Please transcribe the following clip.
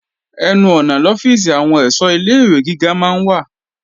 Ẹnu ọ̀nà lọ́fíìsì àwọn èṣọ́ ilé-ìwé gíga máa ń wà